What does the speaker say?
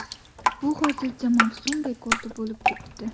Bu hozircha mavsum rekordi bo‘lib turibdi.